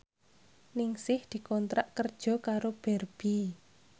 Ningsih dikontrak kerja karo Barbie